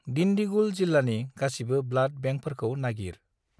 दिन्दिगुल जिल्लानि गासिबो ब्लाड बेंकफोरखौ नागिर।